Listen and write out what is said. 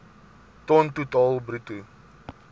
ton totaal bruto